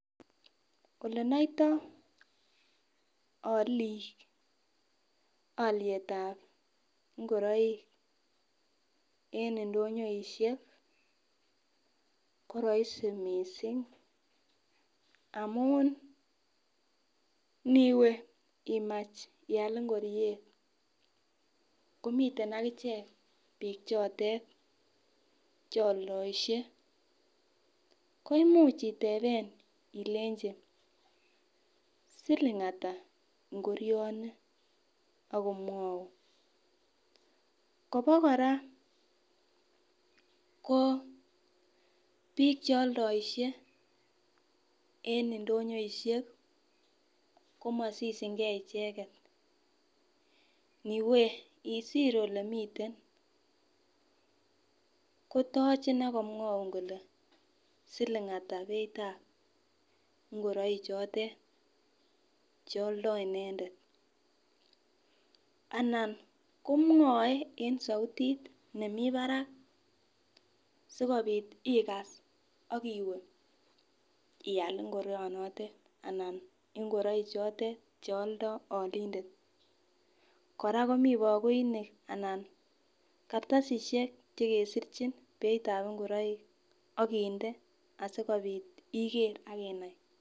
Olenoitoi olik oliet ap ngoroik en ndonyoishek ko raisi mising amun niwe imach ial ngoriet komiten akichek biik chotet cheoldoishe koimuch iteben ilenchi siling ata ngorioni akomwoun Kobo kora ko biik che aldoishe eng ndonyoishek komasishingei icheket iwe isir olemiten kotochin akomwoun kole siling ata beit ap ngoroik chotet chealdoi inendet anan komwoe en soutit nemii barak sikobit ikas akiwe ial ngorionotet anan ngoroik chotet chealdoi olindet kora komi bakoinik anan kartasishek chekesirchim beit ap ngoroik akinde asikobit ikere akinai.